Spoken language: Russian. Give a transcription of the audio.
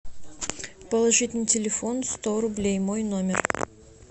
положить на телефон сто рублей мой номер